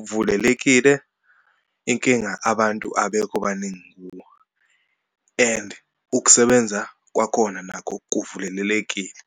uvulelekile, inkinga abantu abekho baningi kuwo and ukusebenza kwakhona nakho kuvulelelekile.